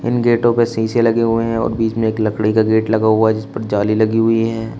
गेटों पे शीशे लगे हुए हैं और बीच में एक लकड़ी का गेट लगा हुआ है जिसपर जाली लगी हुई है।